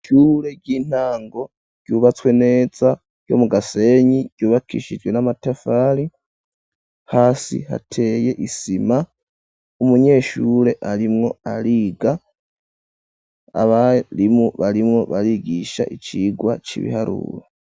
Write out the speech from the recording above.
Ishure ry'intango ryubatswe neza ryo mu Gasenyi ryubakishijwe n'amatafari, hasi hateye isima ,umunyeshure arimwo ariga ,abarimu barimwo barigisha icigwa c'ibiharuro.